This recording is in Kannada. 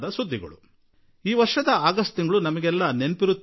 ಇದಕ್ಕೆ ಈ ವರ್ಷದ ಆಗಸ್ಟ್ ತಿಂಗಳು ನೆನಪಿನಲ್ಲಿ ಉಳಿಯುತ್ತದೆ